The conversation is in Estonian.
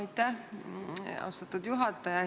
Aitäh, austatud juhataja!